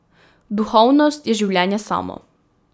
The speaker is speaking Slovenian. Duhovnost je življenje samo.